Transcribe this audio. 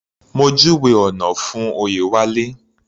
Mo júwèé ọ̀nà fún Oyewale.